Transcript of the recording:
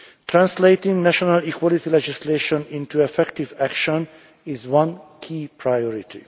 Translating national equality legislation into effective action is one key priority.